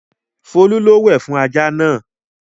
Folú lọ wẹ̀ fún ajá náà!